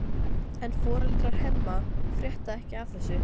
En foreldrar Hemma frétta ekki af þessu.